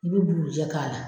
I bɛ bugurujɛ k'a la.